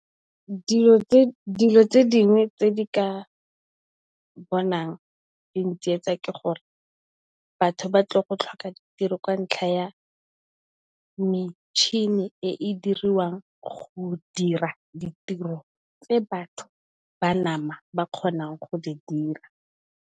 Dilo tse dingwe tse di ka bonang di ntsietsa ke gore batho ba tlile go tlhoka ditiro ka ntlha ya metšhini e e diriwang go dira ditiro tse batho ba nama ba kgonang go di dira.